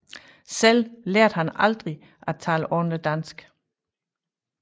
Selv lærte han aldrig at tale ordentlig dansk